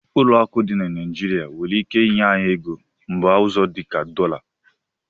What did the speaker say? Ụlọ akụ dị na Naijiria nwere ike inye anyị ego mba ọzọ dị ka dọla.